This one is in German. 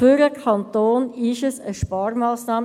Für den Kanton handelt es sich dabei um eine Sparmassnahme.